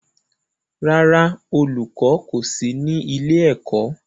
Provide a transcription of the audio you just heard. Rárá, olùkọ́ kọ̀ sí ní ilé-ẹ̀kọ́.